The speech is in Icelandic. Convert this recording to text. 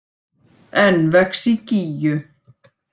Enn vex í Gígju